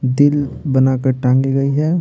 दिल बनाकर टांगी गई है।